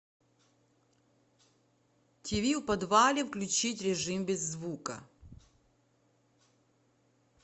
тиви в подвале включить режим без звука